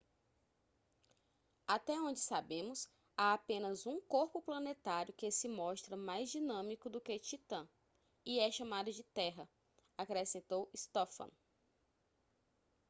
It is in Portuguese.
até onde sabemos há apenas um corpo planetário que se mostra mais dinâmico do que titã e é chamado de terra acrescentou stofan